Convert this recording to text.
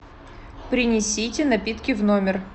принесите напитки в номер